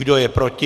Kdo je proti?